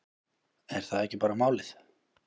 Er það ekki bara málið?